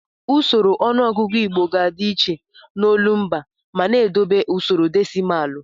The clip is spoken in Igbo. Usoro ọnụọgụgụ Igbo ga-adị iche n'olumba ma na-edobe usoro desịmalụ.